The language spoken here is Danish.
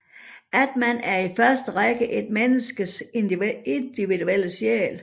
Atman er i første række et menneskes individuelle sjæl